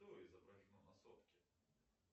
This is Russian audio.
что изображено на сотке